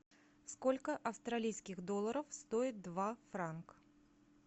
сколько австралийских долларов стоит два франк